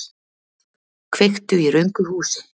Kveiktu í röngu húsi